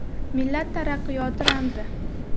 Millat taraqqiyoti ramzi.